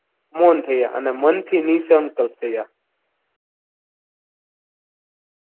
મોંન થયા અને મનથી ની સંકલ્પ થયા.